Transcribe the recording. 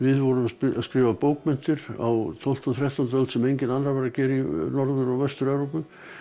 vorum að skrifa bókmenntir á tólftu og þrettándu öld sem enginn annar var að gera í Norður og Vestur Evrópu